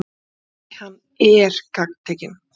Nei, hann ER gagntekinn.